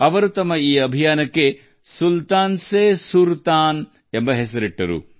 ಅವರು ತಮ್ಮ ಈ ಕಾರ್ಯಾಚರಣೆಗೆ ಸುಲ್ತಾನ್ ಸೆ ಸುರ್ತಾನ್ ಎಂದು ಹೆಸರಿಸಿದರು